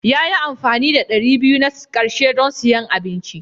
Ya yi amfani da ɗari biyu na ƙarshe don siyan abinci.